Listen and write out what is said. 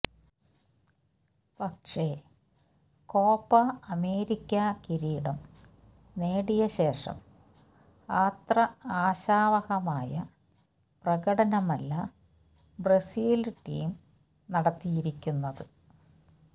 പക്ഷേ Copa America കിരീടം നേടിയ ശേഷം ആത്ര ആശാവഹമായ പ്രകടനമല്ല ബ്രസീല് ടീം നടത്തിയിരിക്കുന്നത്